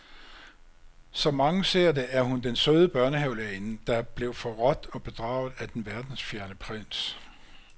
Som mange ser det, er hun den søde børnehavelærerinde, der blev forrådt og bedraget af den verdensfjerne prins.